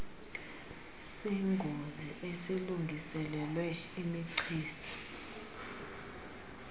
sengozi esilungiselelwe imichiza